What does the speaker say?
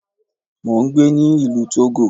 Mo ń gbé ní ìlú Togo.